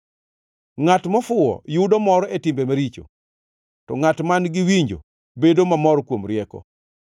Ngʼat mofuwo yudo mor e timbe maricho, to ngʼat man-gi winjo bedo mamor kuom rieko.